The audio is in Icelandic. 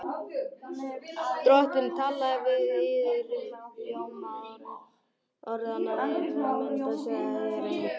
Drottinn talaði við yður. hljóm orðanna heyrðuð þér, en mynd sáuð þér enga.